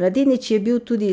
Mladenič je bil tudi